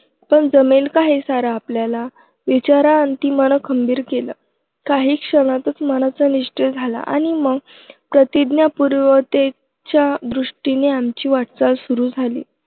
पण जमेल का हे सारं आपल्याला? विचाराअंती मन खंबीर केलं. काही क्षणातच मनाचा निश्चय झाला आणि मग प्रतिज्ञापूर्ततेच्या दृष्टीने आमची वाटचाल सुरू झाली.